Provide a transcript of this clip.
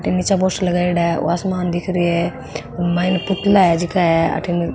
ई निचे पोस्टर लगाईडा है ओ आसमान दिख रियो है मायने पुतला है जीका है अठीने --